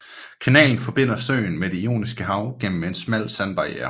Kanalen forbinder søen med Det Ioniske Hav gennem en smal sandbarierre